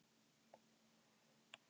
Ánægður með fundinn